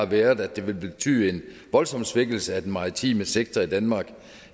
været at det vil betyde en voldsom svækkelse af den maritime sektor i danmark